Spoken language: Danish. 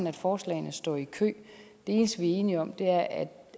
at forslagene står i kø det eneste vi er enige om er at